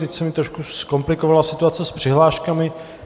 Teď se mi trošku zkomplikovala situace s přihláškami.